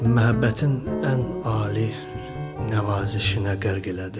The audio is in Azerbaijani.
Məhəbbətin ən ali nəvazişinə qərq elədi.